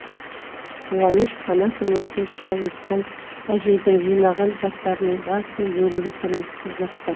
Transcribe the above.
қуаныш қанатұлы тілші әуесхан әжейдің жинаған заттарының басым бөлігі тұрмыстық заттар